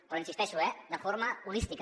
però hi insisteixo eh de forma holística